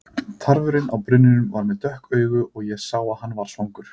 Tarfurinn á brunninum var með dökk augu og ég sá að hann var svangur.